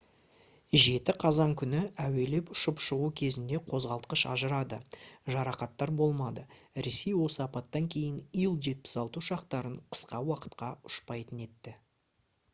7 қазан күні әуелеп ұшып шығу кезінде қозғалтқыш ажырады жарақаттар болмады ресей осы апаттан кейін ил-76 ұшақтарын қысқа уақытқа ұшпайтын етті